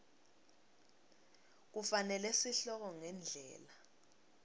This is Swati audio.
kufanele sihloko ngendlela